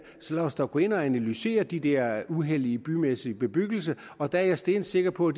så lad os da gå ind og analysere de der uheld i bymæssig bebyggelse og der er jeg stensikker på